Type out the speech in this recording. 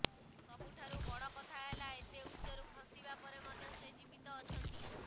ସବୁଠାରୁ ବଡ଼ କଥା ହେଲା ଏତେ ଉଚ୍ଚରୁ ଖସିବା ପରେ ମଧ୍ୟ ସେ ଜୀବତ ଅଛନ୍ତି